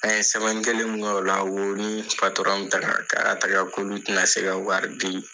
An ye sɛmɛni kelen min kɛ o la, o ni patɔrɔn se ka wari di.